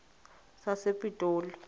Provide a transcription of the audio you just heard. sasepitoli